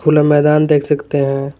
खुला मैदान देख सकते हैं।